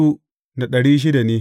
Yawan mutanen sashensa ne.